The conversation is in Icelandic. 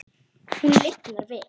Hún lifnar við.